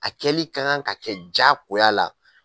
A kɛlen ka kan ka kɛ jagoya la